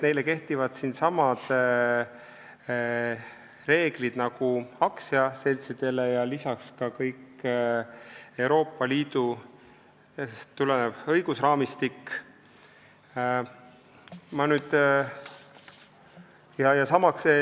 Nende kohta kehtivad samad reeglid nagu aktsiaseltside kohta ja samuti kogu Euroopa Liidust tulenev õigusraamistik.